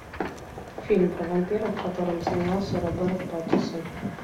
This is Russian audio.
фильм про вампиров в котором снимался роберт паттинсон